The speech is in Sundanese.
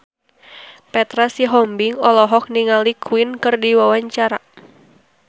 Petra Sihombing olohok ningali Queen keur diwawancara